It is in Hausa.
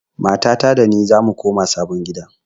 Matata da ni zamu koma sabon gida.